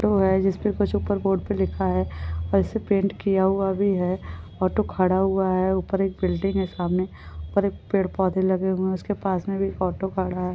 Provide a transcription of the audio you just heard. Board पे लिखा हुआ है वैसे पेंट भी किया हुआ है ऑटो खड़ा हुआ है ऊपर एक बिल्डिंग है सामने ऊपर एक पेड़ पौधे लगे हुए है उसके पास में भी ऑटो खड़ा है।